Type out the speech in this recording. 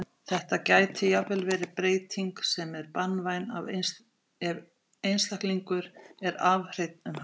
Þetta gæti jafnvel verið breyting sem er banvæn ef einstaklingur er arfhreinn um hana.